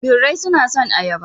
Birai suna son ayaba.